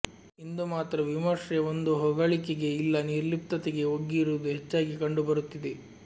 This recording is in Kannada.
ಇಂದು ಮಾತ್ರ ವಿಮರ್ಶೆ ಒಂದೋ ಹೊಗಳಿಕೆಗೆ ಇಲ್ಲಾ ನಿರ್ಲಿಪ್ತತತೆಗೆ ಒಗ್ಗಿರುವುದು ಹೆಚ್ಚಾಗಿ ಕಂಡು ಬರುತ್ತಿದೆ